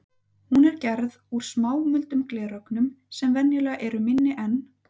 Hún er gerð úr smámuldum glerögnum sem venjulega eru minni en